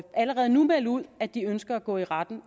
allerede nu at melde ud at de ønsker at gå i retten